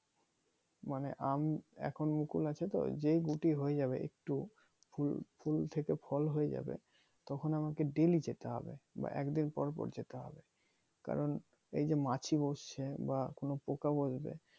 মানে আম এখন মকুল আছে তো যে গুটি হয়ে যাবে একটু ফুল থেকে ফল হয়ে যাবে তখন আমাকে ডেইলি যেতে হবে বা একদিন পর পর যেতে হবে কারন এইযে মাছি বসছে বা কোন পোকা বসবে।